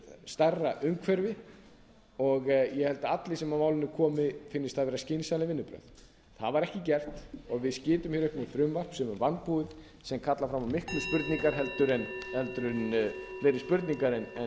stærra umhverfi ég held að öllum sem að málinu komi finnist það vera skynsamleg vinnubrögð það var ekki gert og við sitjum hér uppi með frumvarp sem er vanbúið sem kallar fram á miklu fleiri spurningar en